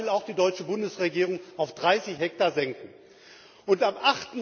Das will auch die deutsche Bundesregierung auf 30 Hektar senken. Am